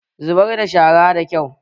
Zubar da shara da kyau!